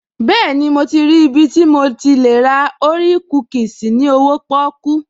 Bẹ́ẹ̀ni, mo ti rí ibi tí mo lè ti ra orea kúkìsì ní owóo pọ́kú